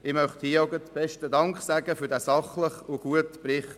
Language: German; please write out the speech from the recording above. Ich möchte mich an dieser Stelle auch bedanken für den sachlichen und guten Bericht.